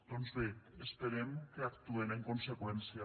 doncs bé esperem que actuen en conseqüència